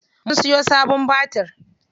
Mun siyo sabon batir.